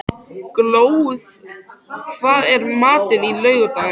Glóð, hvað er í matinn á laugardaginn?